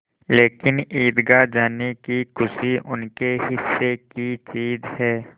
लेकिन ईदगाह जाने की खुशी उनके हिस्से की चीज़ है